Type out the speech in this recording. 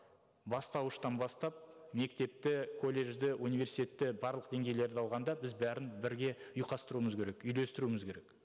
бастауыштан бастап мектепті колледжді университетті барлық деңгейлерді алғанда біз бәрін бірге ұйқастыруымыз керек үйлестіруіміз керек